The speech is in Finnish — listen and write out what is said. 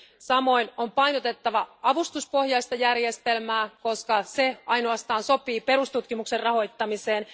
Samoin on painotettava avustuspohjaista järjestelmää, koska ainoastaan se sopii perustutkimuksen rahoittamiseen.